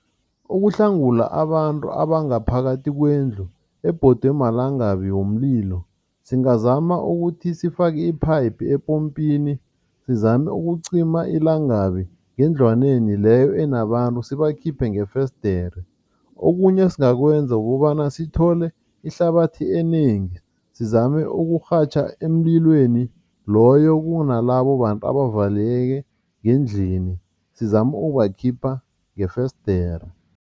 Ukuhlangula abantu abangaphakathi kwendlu ebhodwe malangabi womlilo, singazama ukuthi sifake iphayiphu epompini, sizame ukucima ilangabi ngendlwaneni leyo enabantu sibakhiphe ngefesidere. Okunye esingakwenza kukobana sithole ihlabathi enengi sizame ukurhatjha emlilweni loyo kunalabo bantu abavaleleke ngendlini, sizame ukubakhipha ngefesidere.